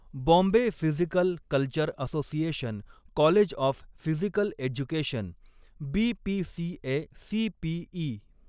Bombay physical culture association college of physical education, BPCACPE.